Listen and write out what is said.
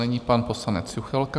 Nyní pan poslanec Juchelka.